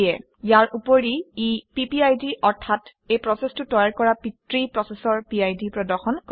ইয়াৰ উপৰি ই পিপিআইডি অৰ্থাৎ এই প্ৰচেচটো তৈয়াৰ কৰা পিতৃ প্ৰচেচৰ পিড প্ৰদৰ্শন কৰে